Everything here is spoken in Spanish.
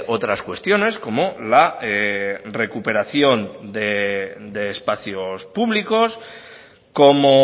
otras cuestiones como la recuperación de espacios públicos como